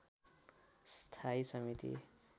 स्थायी समिति